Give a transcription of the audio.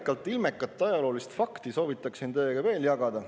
… ja ilmekat ajaloolist fakti soovin teiega veel jagada.